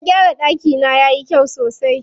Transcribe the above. Na gyara ɗakina yayi kyau sosai.